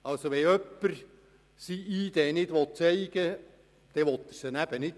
» Wenn also jemand seine ID nicht zeigen will, dann will er nicht.